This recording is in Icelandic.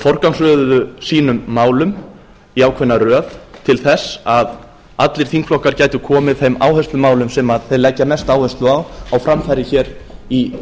forgangsröðuðu sínum málum í ákveðna röð til þess að allir þingflokkar gætu komið að þeim áherslumálum sem þeir leggja mesta áherslu á á framfæri í